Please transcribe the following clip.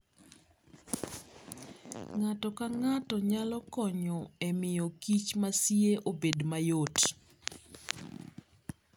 Ng'ato ka ng'ato nyalo konyo e miyo kich masie obed mayot.